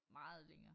Meget længere